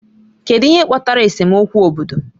Kedu ihe kpatara esemokwu obodo?